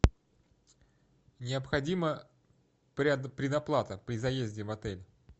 необходима предоплата при заезде в отель